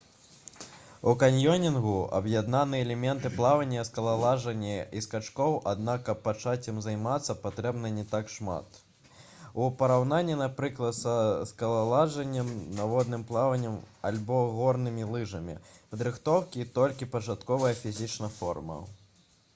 у каньёнінгу аб'яднаны элементы плавання скалалажання і скачкоў аднак каб пачаць ім займацца патрэбна не так шмат у параўнанні напрыклад са скалалажаннем падводным плаваннем альбо горнымі лыжамі падрыхтоўкі і толькі пачатковая фізічная форма